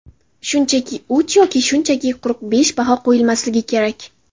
Shunchaki uch yoki shunchaki quruq besh baho qo‘yilmasligi kerak.